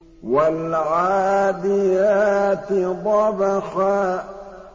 وَالْعَادِيَاتِ ضَبْحًا